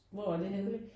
Hvor er det henne?